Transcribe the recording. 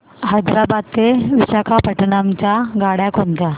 हैदराबाद ते विशाखापट्ण्णम च्या गाड्या कोणत्या